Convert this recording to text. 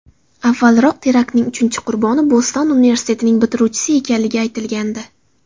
Avvalroq teraktning uchinchi qurboni Boston universitetining bitiruvchisi ekanligi aytilgandi.